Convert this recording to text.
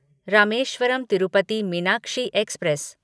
Rameswaram Tirupati Meenakshi express